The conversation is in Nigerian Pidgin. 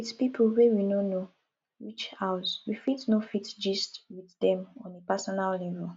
with pipo wey we no know reach house we fit no fit gist with dem on a personal level